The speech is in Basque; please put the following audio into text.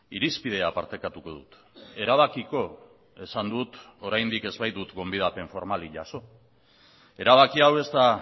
irizpidea partekatuko dut erabakiko esan dut oraindik ez baitut gonbidapen formalik jaso erabaki hau ez da